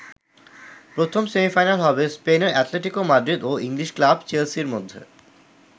প্রথম সেমিফাইনাল হবে স্পেনের অ্যাটলেটিকো মাদ্রিদ ও ইংলিশ ক্লাব চেলসির মধ্যে।